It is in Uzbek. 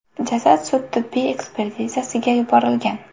Jasad sud-tibbiy ekspertizasiga yuborilgan.